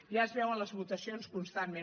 ja es veu en les votacions constantment